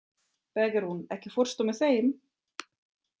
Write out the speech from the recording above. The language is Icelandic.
Bergrún, ekki fórstu með þeim?